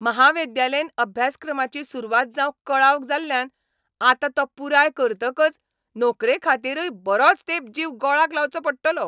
म्हाविद्यालयीन अभ्यासक्रमाची सुरवात जावंक कळाव जाल्ल्यान आतां तो पुराय करतकच नोकरेखातीरय बरोच तेंप जीव गोळाक लावचो पडटलो.